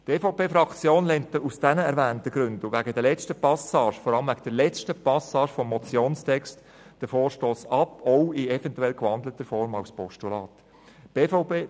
Die EVP-Fraktion lehnt aus den genannten Gründen und wegen der letzten Passage des Motionstextes den Vorstoss auch in eventuell gewandelter Form als Postulat ab.